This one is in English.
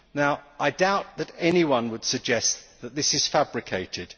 I doubt that anyone would suggest that this is fabricated.